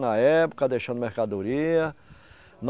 Na época, deixando mercadoria.